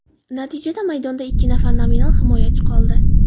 Natijada maydonda ikki nafar nominal himoyachi qoldi.